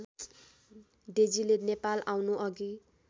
डेजीले Nepal आउनुअघि